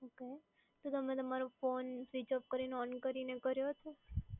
Okay. તો તમે તમારો ફોન સ્વિચ ઓફ કરીને ઓન કરીને કર્યો હતો?